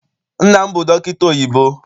Nna m bụ dọkịta oyibo.